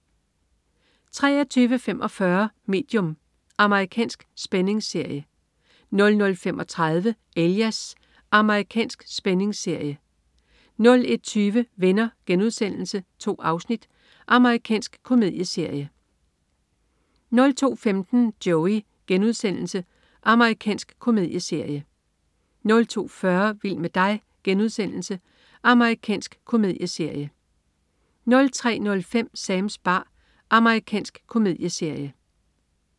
23.45 Medium. Amerikansk spændingsserie 00.35 Alias. Amerikansk spændingsserie 01.20 Venner.* 2 afsnit. Amerikansk komedieserie 02.15 Joey.* Amerikansk komedieserie 02.40 Vild med dig.* Amerikansk komedieserie 03.05 Sams bar. Amerikansk komedieserie